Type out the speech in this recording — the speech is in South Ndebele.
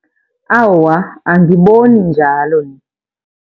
Awa, angiboni njalo.